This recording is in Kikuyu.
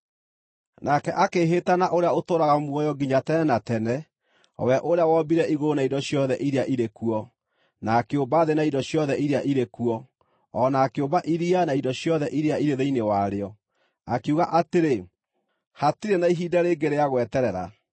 Nake akĩĩhĩta na ũrĩa ũtũũraga muoyo nginya tene na tene, o we ũrĩa wombire igũrũ na indo ciothe iria irĩ kuo, na akĩũmba thĩ na indo ciothe iria irĩ kuo, o na akĩũmba iria na indo ciothe iria irĩ thĩinĩ warĩo, akiuga atĩrĩ, “Hatirĩ na ihinda rĩngĩ rĩa gweterera!”